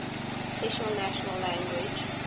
official national language